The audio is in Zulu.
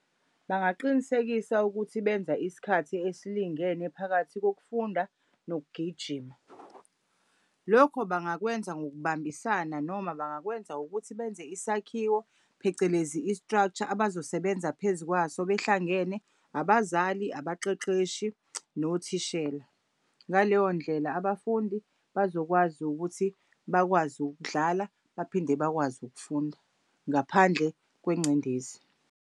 Bangaqinisekisa ukuthi benza isikhathi esilingene phakathi kokufunda nokugijima. Lokho bangakwenza ngokubambisana noma bangakwenza ukuthi benze isakhiwo phecelezi i-structure abazosebenza phezu kwaso behlangene abazali, abaqeqeshi, nothishela. Ngaleyo ndlela abafundi bazokwazi ukuthi bakwazi ukudlala baphinde bakwazi ukufunda ngaphandle kwengcindezi.